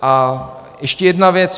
A ještě jedna věc.